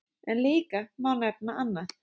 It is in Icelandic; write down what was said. En líka má nefna annað.